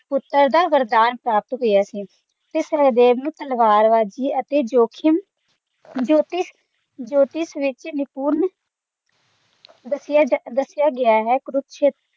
ਪੁੱਤਰ ਦਾ ਵਰਦਾਨ ਪ੍ਰਾਪਤ ਹੋਇਆ ਸੀ ਤੇ ਸਹਿਦੇਵ ਨੂੰ ਤਲਵਾਰਬਾਜ਼ੀ ਤੇ ਜੋਖਿਮ ਜੋਤਿਸ਼ ਜੋਤਿਸ਼ ਵਿੱਚ ਨਿਪੁੰਨ ਦੱਸਿਆ ਦੱਸਿਆ ਗਿਆ ਹੈ ਕੁਰੂਕਸ਼ੇਤਰ